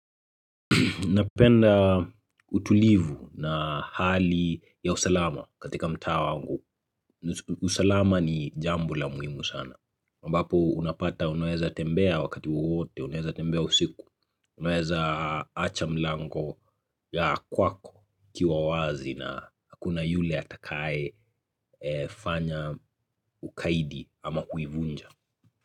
Napenda utulivu na hali ya usalama katika mtaa wangu. Usalama ni jambo la muhimu sana. Ambapo unapata unaweza tembea wakati wote, unaweza tembea usiku, unaweza acha mlango ya kwako ikiwa wazi na hakuna yule atakae fanya ukaidi ama kuivunja.